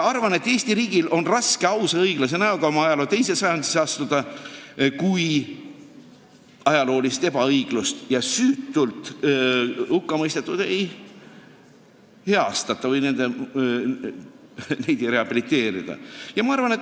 Arvan, et Eesti riigil on raske ausa näoga oma ajaloo teise sajandisse astuda, kui ajaloolist ebaõiglust ei heastata ja süütult hukkamõistetuid ei rehabiliteerita.